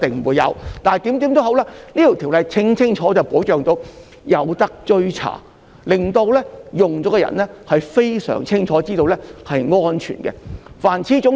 無論如何，《條例草案》清楚地確保可以追查紀錄，令到使用的人非常清楚知道製品是安全的。